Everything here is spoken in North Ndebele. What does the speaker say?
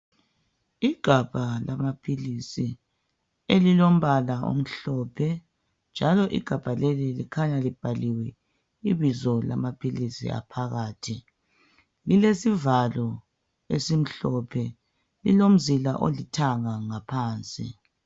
Igabha lamaphilisi elilombala omhlophe, njalo igabha leli likhanya libhaliwe ibizo lamaphilisi aphakathi. Lilesivalo esimhlophe, lilomzila olithanga ngaphansi.